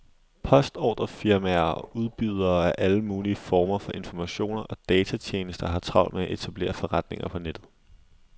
Postordrefirmaer og udbydere af alle mulige former for informationer og datatjenester har travlt med at etablere forretninger på nettet.